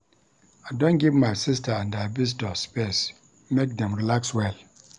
I don give my sista and her visitor space make dem relax well.